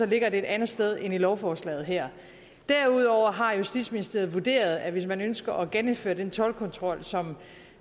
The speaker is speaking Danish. ligger det et andet sted end i lovforslaget her derudover har justitsministeriet vurderet at hvis man ønsker at genindføre den toldkontrol som